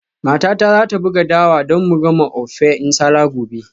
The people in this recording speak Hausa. Matata za ta buga dawa don mu gama ofe nsala gobe.